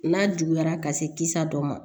N'a juguyara ka se kisa dɔ ma